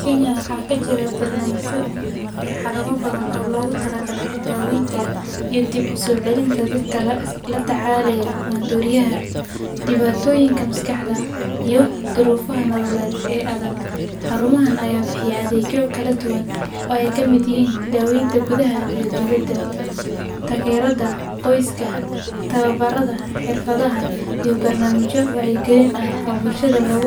Kenya waxaa ka jira barnaamijyo iyo xarumo badan oo loogu talagalay daaweynta iyo dib u soo celinta dadka la tacaalaya maandooriyaha, dhibaatooyinka maskaxda, iyo duruufaha nololeed ee adag. Xarumahan ayaa bixiya adeegyo kala duwan oo ay ka mid yihiin daaweynta gudaha iyo dibadda, taageerada qoyska, tababarada xirfadaha, iyo barnaamijyo wacyigelin ah oo bulshada lagu